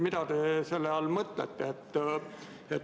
Mida te selle all mõtlete?